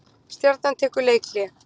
Stjarnan tekur leikhlé